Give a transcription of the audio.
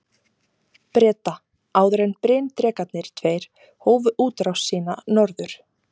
Breta, áður en bryndrekarnir tveir hófu útrás sína norður.